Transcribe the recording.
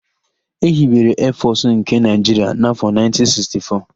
Ehibere Eefọsụ nke Naịjiria n'afọ 1964.